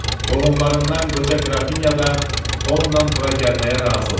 Qohumlarından qoca qrafinya da onunla bura gəlməyə razı olub.